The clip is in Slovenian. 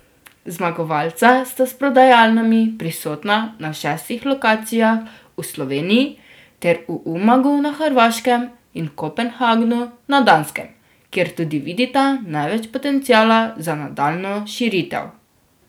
Zmagovalca sta s prodajalnami prisotna na šestih lokacijah v Sloveniji ter v Umagu na Hrvaškem in Kopenhagnu na Danskem, kjer tudi vidita največ potenciala za nadaljnjo širitev.